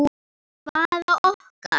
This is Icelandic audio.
Hvaða okkar?